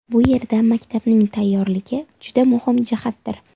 Bu yerda maktabning tayyorligi juda muhim jihatdir.